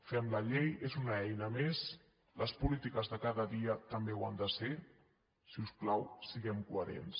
fem la llei és una eina més les polítiques de cada dia també ho han de ser si us plau siguem coherents